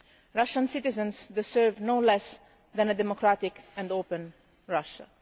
Russian citizens deserve no less than a democratic and open Russia.